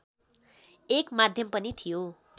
एक माध्यम पनि थियो